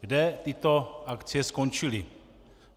Kde tyto akcie skončily?